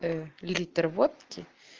литр водки